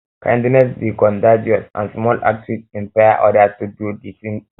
kindness dey dey contagious and small acts fit inspire others to do di same